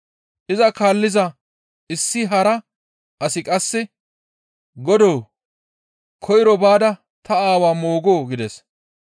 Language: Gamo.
Iza kaalliza issi hara asi qasse, «Godoo! Koyro baada ta aawa moogoo?» gides.